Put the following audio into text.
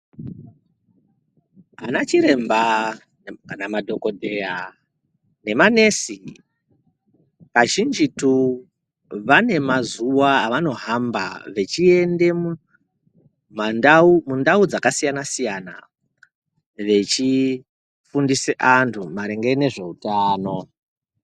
Ana chiremba kana madhogodheya nemanesi kazvinjitu vane mazuva avanohamba vachiende mumandau mundau dzakasiyana-siyana, vechifundisa antu maringe nezveutano.